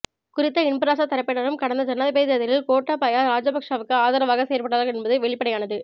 குறித்த இன்பராசா தரப்பினரும் கடந்த ஜனாதிபதி தேர்தலில் கோட்டாபய ராஜபக்ஷவுக்கு ஆதரவாக செயற்பட்டார்கள் என்பது வெளிப்படையானது